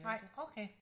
Nej okay